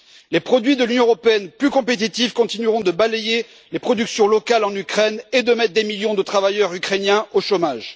Les produits de l'Union, plus compétitifs, continueront de balayer les productions locales en Ukraine et de mettre des millions de travailleurs ukrainiens au chômage.